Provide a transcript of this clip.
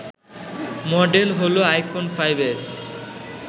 model হল iPhone ৫ S